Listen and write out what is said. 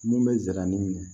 Mun bɛ ziramugu minɛ